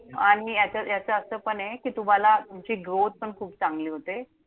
आणि याचा यांच्यात असं पणे कि, तुम्हाला तुमची growth पण चांगली होऊ शकते.